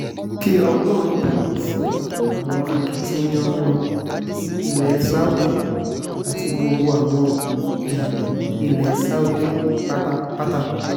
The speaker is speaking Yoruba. kí ọlọ́run bùkún fún wọn akitiyan wọn ilẹ̀ saudi àti gbogbo àwọn èèyàn ilẹ̀ saudi pátápátá